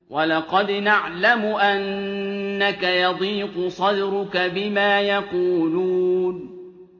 وَلَقَدْ نَعْلَمُ أَنَّكَ يَضِيقُ صَدْرُكَ بِمَا يَقُولُونَ